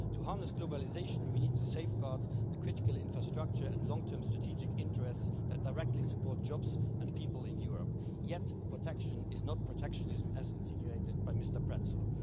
To harness globalisation we need to safeguard the critical infrastructure and long term strategic interests that directly support jobs and people in Europe and protection is not protectionism, as was insinuated by Mr Pretzell.